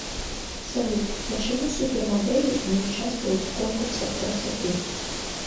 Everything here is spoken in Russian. салют почему супермодели не участвуют в конкурсах красоты